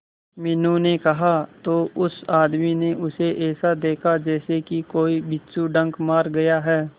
मीनू ने कहा तो उस आदमी ने उसे ऐसा देखा जैसे कि कोई बिच्छू डंक मार गया है